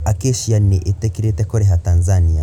Acacia nĩ ĩtĩkĩrĩte kũrĩha Tanzania.